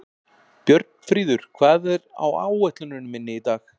Björnfríður, hvað er á áætluninni minni í dag?